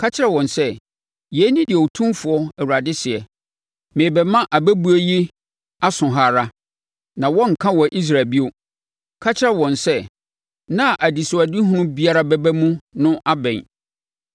Ka kyerɛ wɔn sɛ, ‘Yei ne deɛ Otumfoɔ Awurade seɛ: Merebɛma abɛbuo yi aso ha ara, na wɔrenka wɔ Israel bio.’ Ka kyerɛ wɔn sɛ, ‘Nna a anisoadehunu biara bɛba mu no abɛn.